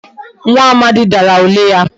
Nwa Amadi Dara ule ya